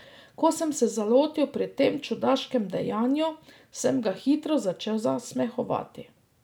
Ko sem se zalotil pri tem čudaškem dejanju, sem ga hitro začel zasmehovati.